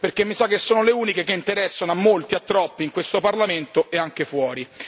Perché mi sa che sono le uniche che interessano a molti e a troppi in questo Parlamento e anche fuori.